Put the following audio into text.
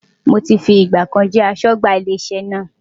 Mo ti fi ìgbà kan jẹ́ aṣọ́gbà ilé iṣẹ́ náà.